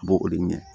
A b'o o de ɲɛ